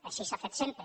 així s’ha fet sempre